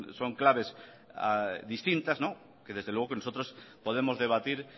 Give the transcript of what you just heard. son claves distintas que desde luego que nosotros podemos debatir